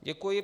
Děkuji.